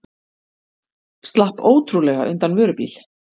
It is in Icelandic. Slapp ótrúlega undan vörubíl